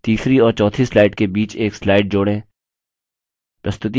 तीसरी और चौथी slide के बीच एक slide जोड़ें